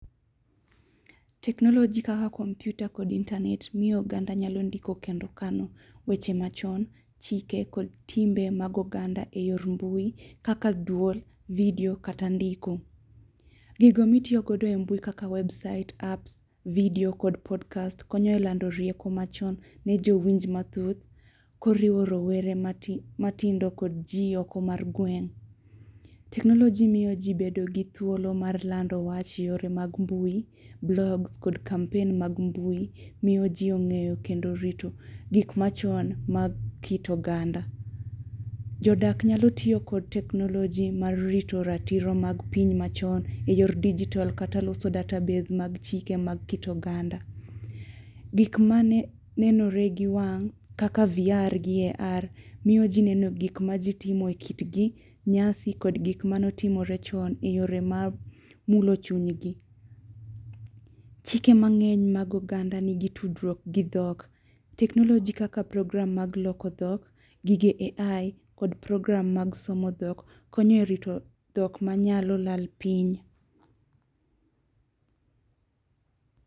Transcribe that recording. Teknoloji kaka kompyuta kod intanet miyo oganda ndiko kendo kano weche machon, chike kod timbe mag oganda e yor mbui kaka dwol, vidio, kata ndiko. Gigo mitiyogodo e mbui kaka website apps, video kod podcast konyo e lando rieko machon ne jowinj mathoth koriwo rowere matindo kod jioko mar gweng'. Teknoloji miyo ji bedo gi thuolo mar lando wach yore mag mbui, blogs, kod kampen mag mbui, miyo ji ong'eyo kendo rito gikma chon mag kit oganda. Jodak nyalo tiyo kod teknoloji mar rito ratiro mag piny machon e yor dijitol kata loso database mag chike mag kit oganda. Gik ma nenore gi wang', kaka VR gi AR miyo ji neno gik ma ji timo e kitgi, nyasi, kod gik manotimore chon e yore ma mulo chuny gi. Chike mang'eny mag oganda nigi tudruok gi dhok, teknoloji kaka program mag somo dhok, konyo e rito dhok ma nyalo lal piny.